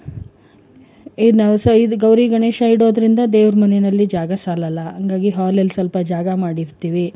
ಏ ನಮ್ side ಗೌರಿ ಗಣೇಶ ಇಡೋದ್ರಿಂದ ದೇವ್ರ ಮನೇನಲ್ಲಿ ಜಾಗ ಸಾಲಲ್ಲ ಹಂಗಾಗಿ hall ಅಲ್ಲಿ ಸ್ವಲ್ಪ ಜಾಗ ಮಾಡಿರ್ತೀವಿ.